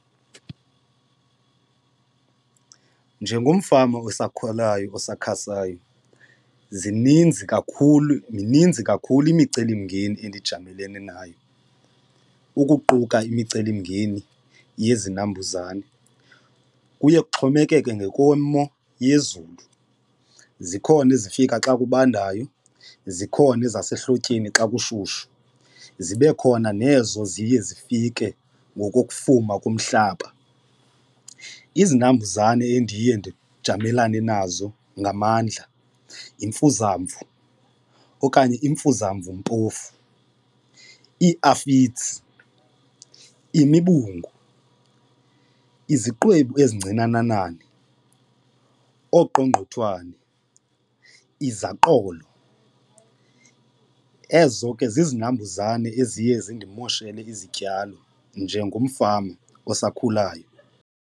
Njengomfama osakhulayo osakhasayo zininzi kakhulu mininzi kakhulu imicelimngeni endijamelene nayo ukuquka imicelimngeni yezinambuzane, kuye kuxhomekeke ngokwemo yezulu. Zikhona ezifika xa kubandayo zikhona ezasehlotyeni xa kushushu zibe khona nezo ziye zifike ngokokufuma komhlaba, izinambuzane endiye ndijamelene nazo ngamandla yimfuzamvu okanye imfuzamvumpofu, iiafits, imibungu, iziqwebu ezincinananane, oqongqothwane, izaqolo, ezo ke zizinambuzane eziye zindimoshele izityalo njengomfama osakhulayo.